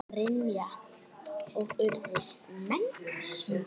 Brynja: Og urðu menn smeykir?